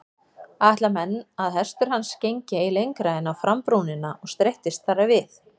Ætla menn að hestur hans gengi ei lengra en á frambrúnina og streittist þar við.